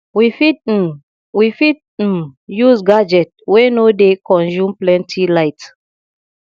we fit um we fit um use gadget wey no dey consume plenty light